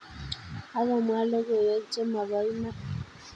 Akomwaa logoiwek chemobo iman